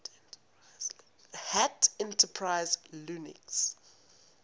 hat enterprise linux